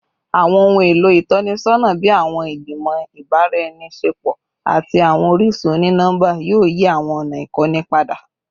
Awọn ohun elo itọnisọna bii awọn igbimọ ibaraenisepo ati awọn orisun oni-nọmba yoo yi awọn ọna ikọni pada